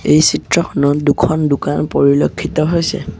এই চিত্ৰখনত দুখন দোকান পৰিলক্ষিত হৈছে।